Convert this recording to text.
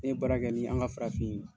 Ne ye baara kɛ ni an ka farafin